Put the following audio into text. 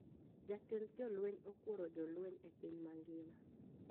Jatend jolweny okuoro jolweny e piny mangima